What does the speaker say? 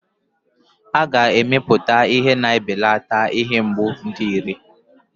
A ga-emepụta ihe na-ebelata ihe mgbu dị iré.